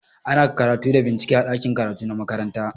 Ana karatu da bincike a ɗakin karatu na makaranta.